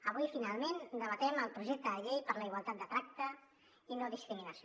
avui finalment debatem el projecte de llei per a la igualtat de tracte i la no discriminació